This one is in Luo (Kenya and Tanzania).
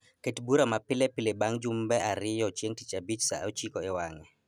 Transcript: Ket bura ma pile pile bang' jumbe ariyo chieng' tich abich saa ochiko ewang'e